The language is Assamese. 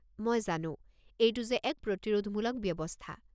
মই জানো, এইটো যে এক প্ৰতিৰোধমূলক ব্যৱস্থা।